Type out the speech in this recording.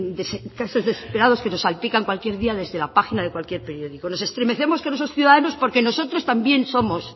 casos desesperados que nos salpican cualquier día desde la página de cualquier periódico nos estremecemos con esos ciudadanos porque nosotros también somos